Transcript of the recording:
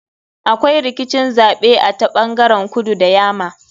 Akwai rikicin zaɓe a ta ɓangaren kudu da yama.